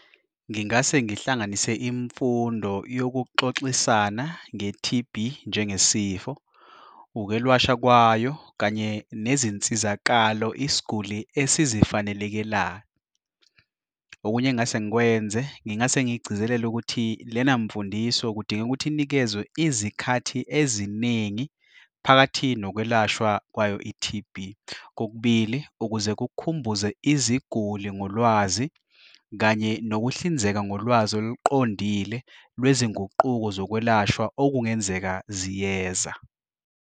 Ngingase ngihlanganise imfundo yokuxoxisana nge-T_B njengesifo, ukwelashwa kwayo kanye nezinsizakalo, isguli esizifanelekelayo. Okunye engingase ngikwenze ngingase ngigcizelele ukuthi lena mfundisi, kudingeka ukuthi inikezwe izikhathi eziningi phakathi nokwelashwa kwayo i-T_B, kokubili ukuze kukhumbuze iziguli ngolwazi kanye nokuhlinzeka ngolwazi oluqondile lwezinguquko zokwelashwa okungenzeka ziyeza.